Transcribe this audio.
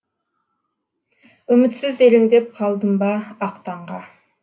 үмітсіз елеңдеп қалдым ба ақ таңға